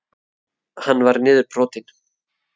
Hann var niðurbrotinn.